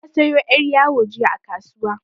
Na sayo yar' yawo jiya a kasuwa.